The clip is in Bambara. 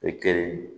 E kelen